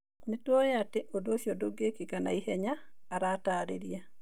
Nĩ tũĩ atĩ ũndũ ũcio ndũngĩĩkĩka na ihenya", aratarĩria.